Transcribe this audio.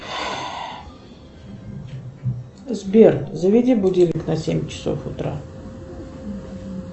сбер заведи будильник на семь часов утра